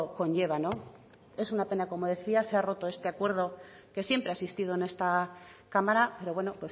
conlleva es una pena como decía se ha roto este acuerdo que siempre ha existido en esta cámara pero bueno